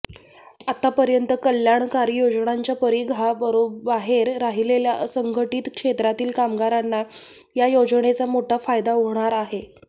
आतापर्यंत कल्याणकारी योजनांच्या परिघाबाहेर राहिलेल्या असंघटित क्षेत्रातील कामगारांना या योजनेचा मोठा फायदा होणार आहे